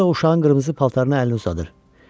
Orada da uşağın qırmızı paltarına əlini uzadır.